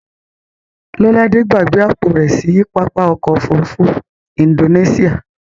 Lọ́ládé gbàgbé àpò rẹ̀ sí pápá ọkọ̀ òfurufú Indonesia.